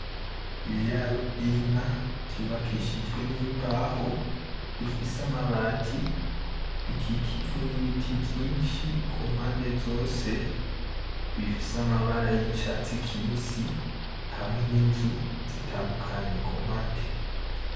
Ibiraro vy’inka vyubakishijwe n’imbaho, bifise amabati bikikijwe n’ibiti vyinshi ku mpande zose, bifise amabara y’icatsi kibisi hamwe n’inzu zitandukanye ku mpande.